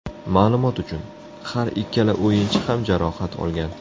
Ma’lumot uchun, har ikkala o‘yinchi ham jarohat olgan.